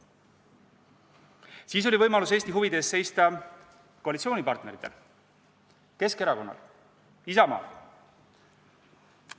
Siis oli võimalus Eesti huvide eest seista koalitsioonipartneritel Keskerakonnal ja Isamaal.